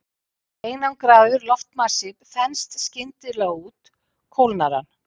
Ef einangraður loftmassi þenst skyndilega út kólnar hann.